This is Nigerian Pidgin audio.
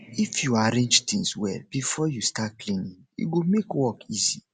if you arrange things well before you start cleaning e go make work easy